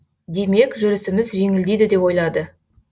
демек жүрісіміз жеңілдейді деп ойлады